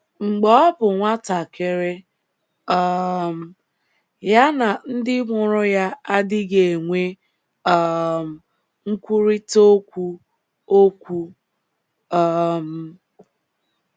Mgbe ọ bụ nwatakịrị um, ya na ndị mụrụ ya adịghị enwe um nkwurịta okwu okwu. um